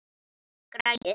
Eða græjur.